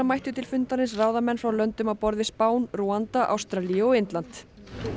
mættu til fundarins ráðamenn frá löndum á borð við Spán Rúanda Ástralíu og Indland